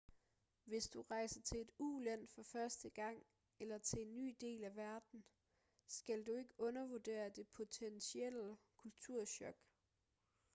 hvis du rejser til et uland for første gang eller til en ny del af verden skal du ikke undervurdere det potentielle kulturchok